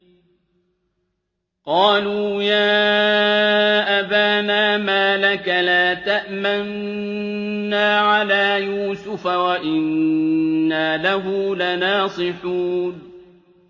قَالُوا يَا أَبَانَا مَا لَكَ لَا تَأْمَنَّا عَلَىٰ يُوسُفَ وَإِنَّا لَهُ لَنَاصِحُونَ